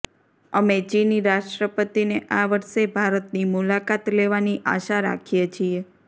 અમે ચિની રાષ્ટ્રપતિને આ વર્ષે ભારતની મુલાકાત લેવાની આશા રાખીએ છીએ